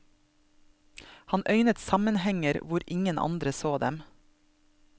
Han øynet sammenhenger hvor ingen andre så dem.